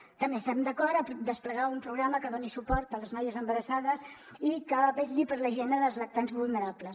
també estem d’acord a desplegar un programa que doni suport a les noies embarassades i que vetlli per la higiene dels lactants vulnerables